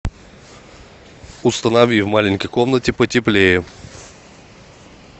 установи в маленькой комнате потеплее